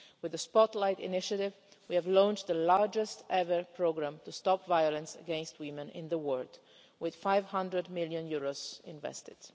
With the spotlight initiative we have launched the largest ever programme to stop violence against women in the world, with EUR 500 million invested.